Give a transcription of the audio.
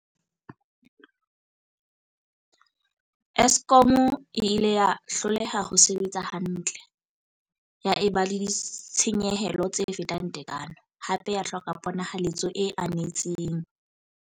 Eskom e ile ya hloleha ho sebetsa hantle, ya eba le ditshenyehelo tse fetang tekano, hape ya hloka ponahaletso e anetseng.